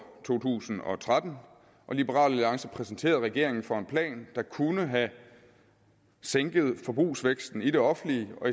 to tusind og tretten og liberal alliance præsenterede regeringen for en plan der kunne have sænket forbrugsvæksten i det offentlige og